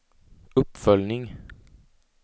uppföljning